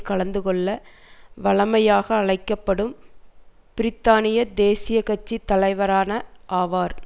கலந்துகொள்ள வழமையாக அழைக்க படும் பிரித்தானிய தேசிய கட்சி தலைவரான ஆவார்